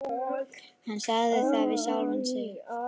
Hann sagði það við sjálfan sig.